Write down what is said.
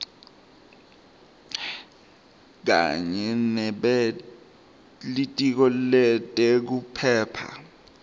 kanye nebelitiko letekuphepha